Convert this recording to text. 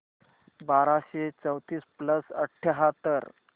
बाराशे चौतीस प्लस अठ्याहत्तर